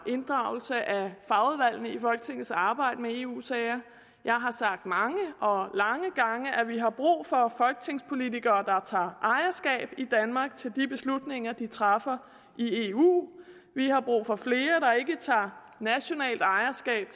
inddragelse af fagudvalgene i folketingets arbejde med eu sager jeg har sagt mange og lange gange at vi har brug for folketingspolitikere der tager ejerskab i danmark til de beslutninger de træffer i eu vi har brug for flere der ikke tager nationalt ejerskab